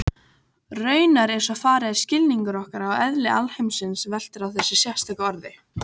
Raunar er svo farið að skilningur okkar á eðli alheimsins veltur á þessu sérstaka orði.